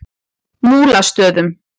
Múlastöðum